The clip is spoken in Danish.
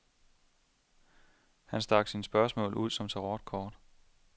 Han stak sine spørgsmål ud som tarot-kort.